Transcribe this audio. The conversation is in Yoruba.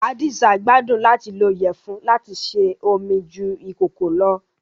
Hadiza gbàdun làti lo iyẹfun lati se ómi ju ikòkò lọ́